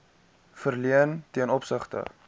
verleen ten opsigte